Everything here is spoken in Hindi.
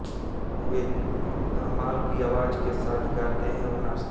वे धमाल की आवाज के साथ गाते और नाचते हैं